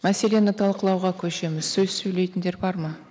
мәселені талқылауға көшеміз сөз сөйлейтіндер бар ма